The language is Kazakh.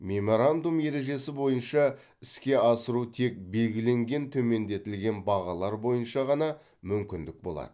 меморандум ережесі бойынша іске асыру тек белгіленген төмендетілген бағалар бойынша ғана мүмкін болады